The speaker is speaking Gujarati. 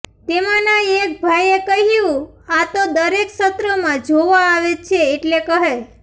તેમાંના એક ભાઈએ કહ્યું આ તો દરેક સત્રમાં જોવા આવે છે એટલે કહે